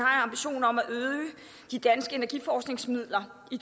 ambition om at øge de danske energiforskningsmidler i